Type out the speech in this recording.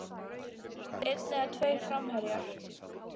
Einn eða tveir framherjar?